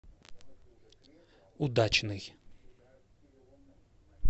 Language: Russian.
удачный